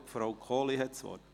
Nun hat Frau Kohli das Wort.